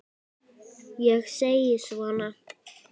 Ég segi svona.